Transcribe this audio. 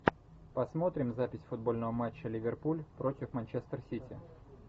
посмотрим запись футбольного матча ливерпуль против манчестер сити